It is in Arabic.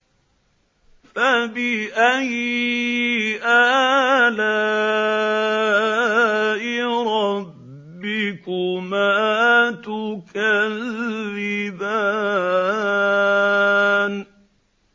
فَبِأَيِّ آلَاءِ رَبِّكُمَا تُكَذِّبَانِ